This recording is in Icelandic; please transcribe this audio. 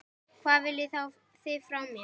Hvað viljið þið frá mér?